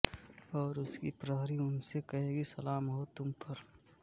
और उसके प्रहरी उनसे कहेंगे सलाम हो तुमपर